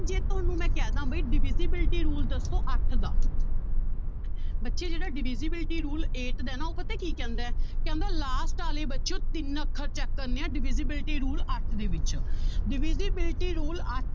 ਤੁਹਾਨੂੰ ਮੈਂ ਕਹਿ ਦੇਵਾਂ ਬਾਈ divisibility rule ਦੱਸੋ ਅੱਠ ਦਾ ਬੱਚੇ ਜਿਹੜਾ divisibility rule ਹੈ eight ਦਾ ਹੈ ਨਾ ਉਹ ਪਤਾ ਕੀ ਕਹਿੰਦਾ ਹੈ ਕਹਿੰਦਾ last ਵਾਲੇ ਬੱਚਿਓ ਤਿੰਨ ਅੱਖਰ check ਕਰਨੇ ਹੈ divisibility rule ਅੱਠ ਦੇ ਵਿੱਚ divisibility rule ਅ~